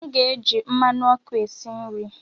M ga-eji mmanụ ọkụ esi nri.